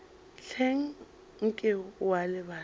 hleng nke o a lebala